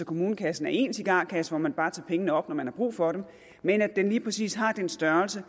kommunekassen er én cigarkasse som man bare tager pengene op fra når man har brug for dem men at den lige præcis har den størrelse